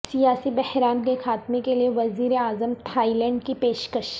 سیاسی بحران کے خاتمہ کے لیے وزیر اعظم تھائی لینڈ کی پیشکش